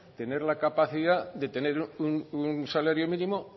tener la capacidad de tener un salario mínimo